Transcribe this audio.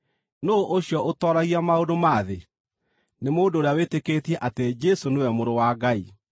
Nũũ ũcio ũtooragia maũndũ ma thĩ? Nĩ mũndũ ũrĩa wĩtĩkĩtie atĩ Jesũ nĩwe Mũrũ wa Ngai.